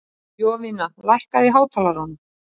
Jovina, lækkaðu í hátalaranum.